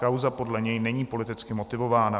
Kauza podle něj není politicky motivována.